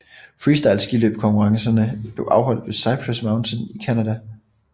Freestyle skiløb konkurrencerne blev afholdt ved Cypress Mountain i Canada